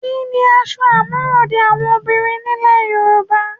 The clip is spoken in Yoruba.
Kí ni aṣọ àmúròde àwọn obìnrin nílẹ̀ Yorùbá?